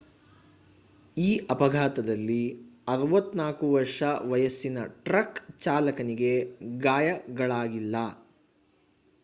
ಈ ಅಪಘಾತದಲ್ಲಿ 64 ವರ್ಷ ವಯಸ್ಸಿನ ಟ್ರಕ್ ಚಾಲಕನಿಗೆ ಗಾಯಗಳಾಗಿಲ್ಲ